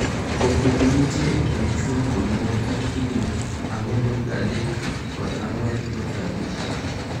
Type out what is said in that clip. Pogruok ma nitie e kind chwo kod mon en higni 4.3 kod 4.5.